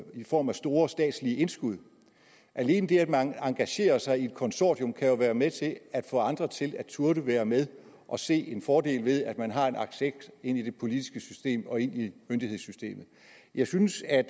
i form af store statslige indskud alene det at man engagerer sig i et konsortium kan jo være med til at få andre til at turde være med og se en fordel ved at man har en access ind i det politiske system og ind i myndighedssystemet jeg synes at